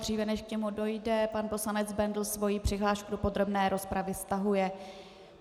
Dříve, než k němu dojde, pan poslanec Bendl svoji přihlášku do podrobné rozpravy stahuje.